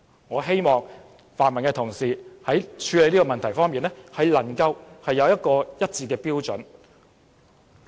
我希望泛民議員在處理這個問題時，能有統一的標準。